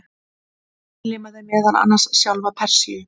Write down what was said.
Hann innlimaði meðal annars sjálfa Persíu.